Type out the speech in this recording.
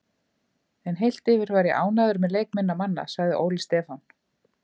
En heilt yfir var ég ánægður með leik minna manna, sagði Óli Stefán.